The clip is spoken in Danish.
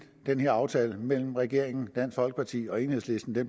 den her aftale mellem regeringen dansk folkeparti og enhedslisten